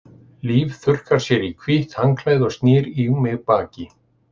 Líf þurrkar sér í hvítt handklæði og snýr í mig baki.